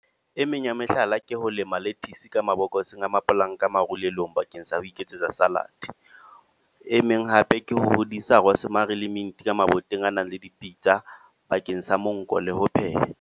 E meng ya mehlala ke ho lema lettuce ka mabokoseng a mapolanka marulelong, bakeng sa ho iketsetsa salad. E meng hape ke hodisa rosemary le mint ka maboteng a nang le dipitsa. Bakeng sa monko le ho pheha.